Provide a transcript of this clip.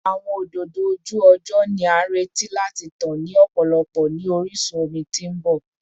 Awọn ododo oju-ọjọ ni a nireti lati tan ni ọpọlọpọ ni orisun omi ti n bọ